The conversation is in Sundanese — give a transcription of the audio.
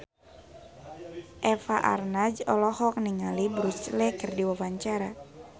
Eva Arnaz olohok ningali Bruce Lee keur diwawancara